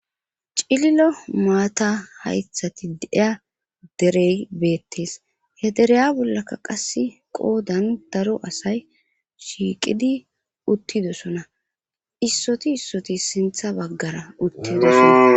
cililo maata haythati deiya derey beettes he dereya bollaka qasse qoodan daro asay shiiqidi uttidosona issoti issoti sintha baggara uttidoson